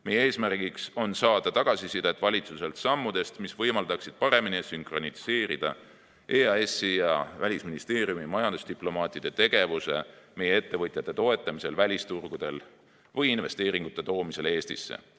Meie eesmärk on saada valitsuselt tagasisidet sammudest, mis võimaldaksid paremini sünkroniseerida EAS‑i ja Välisministeeriumi majandusdiplomaatide tegevuse meie ettevõtjate toetamisel välisturgudel või investeeringute toomisel Eestisse.